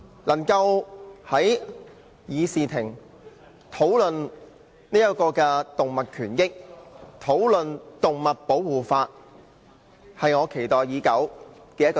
能夠在議事廳內討論動物權益和動物保護法例，是我期待以久的事。